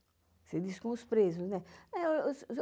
Você diz com os presos, né?